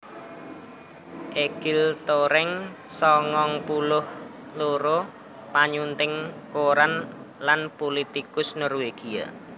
Egil Toreng sangang puluh loro panyunting koran lan pulitikus Norwégia